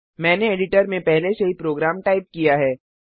मैंने एडिटर में पहले से ही प्रोग्राम टाइप किया है